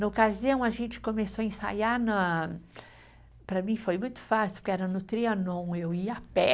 Na ocasião, a gente começou a ensaiar na, para mim foi muito fácil, porque era no Trianon, eu ia a pé.